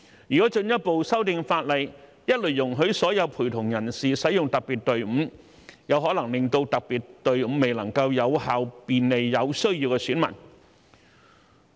如果進一步修訂法例，一律容許所有陪同人士使用特別隊伍，有可能令特別隊伍未能有效便利有需要的選民。